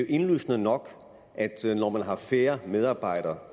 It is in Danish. indlysende nok at når man har færre medarbejdere